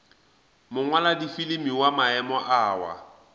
mongwaladifilimi wa maemo a wa